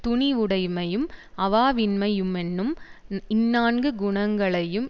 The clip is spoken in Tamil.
துணிவுடைமையும் அவாவின்மையுமென்னும் இந்நான்கு குணங்களையும்